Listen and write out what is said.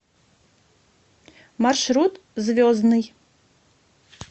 маршрут звездный